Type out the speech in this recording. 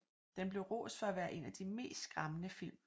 Den blev rost for at være en af de mest skræmmende film